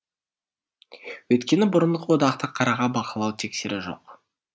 өйткені бұрынғы одақтық қырағы бақылау тексеру жоқ